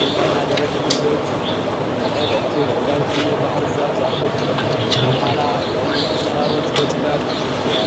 ቁልቋልና ደረቅ ድንጋዮች አሉ። በቀኝ በኩል ረዣዥም የባህር ዛፍ ዛፎች አሉ። ከኋላ የሩቅ ተራሮች በጭጋግ ተሸፍነዋል።